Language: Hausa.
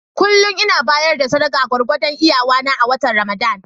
Kullum ina bayar da sadaka gwargwadon iyawa a watannin Ramadan.